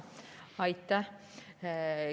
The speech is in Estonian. Aitäh!